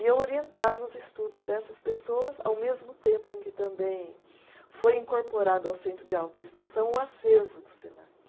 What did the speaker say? E eu orientava os estudos dessas pessoas, ao mesmo tempo em que também foi incorporado ao centro de autoinstrução o acervo do Senac.